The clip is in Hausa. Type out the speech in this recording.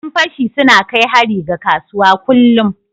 Yan fashi suna na kai hari ga kasuwa kullum.